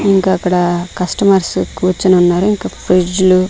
ఇంకా అక్కడ కస్టమర్సు కూర్చుని ఉన్నారు ఇంకా ఫ్రిజ్లు --